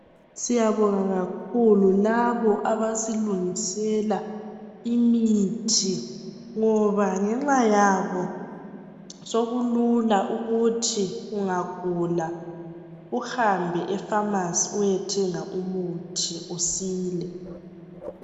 Siyabonga kakhulu labo abasilungisela imithi ngoba ngenxa yabo sekulula ukuthi ungagula uhambe efamasi uyethenga umuthi usile.